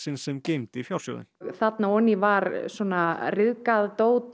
sem geymdi fjársjóðinn þarna ofan í var ryðgað dót